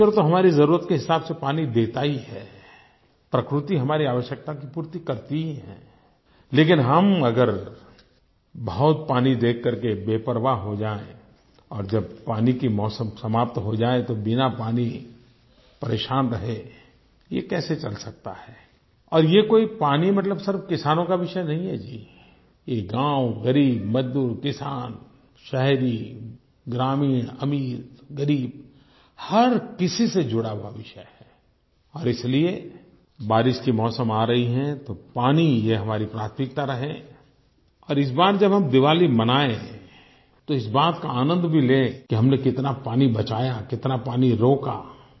ईश्वर तो हमारी ज़रूरत के हिसाब से पानी देता ही है प्रकृति हमारी आवश्यकता की पूर्ति करती ही है लेकिन हम अगर बहुत पानी देख करके बेपरवाह हो जाएँ और जब पानी का मौसम समाप्त हो जाए तो बिना पानी परेशान रहें ये कैसे चल सकता है और ये कोई पानी मतलब सिर्फ किसानों का विषय नहीं है जी ये गाँव ग़रीब मजदूर किसान शहरी ग्रामीण अमीरग़रीब हर किसी से जुड़ा हुआ विषय है और इसलिए बारिश का मौसम आ रहा है तो पानी ये हमारी प्राथमिकता रहे और इस बार जब हम दीवाली मनाएँ तो इस बात का आनंद भी लें कि हमने कितना पानी बचाया कितना पानी रोका